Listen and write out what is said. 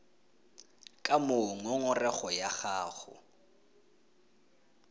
ka moo ngongorego ya gago